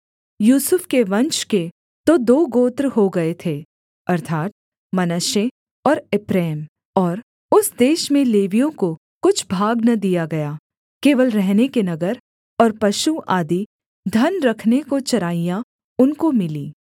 यूसुफ के वंश के तो दो गोत्र हो गए थे अर्थात् मनश्शे और एप्रैम और उस देश में लेवियों को कुछ भाग न दिया गया केवल रहने के नगर और पशु आदि धन रखने को चराइयाँ उनको मिलीं